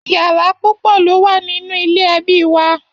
Yàrá púpọ lo wà nínú ilé ẹbí wà.